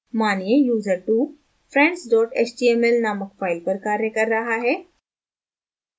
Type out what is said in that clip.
मानिए user2 friends html named file पर कार्य कर रहा है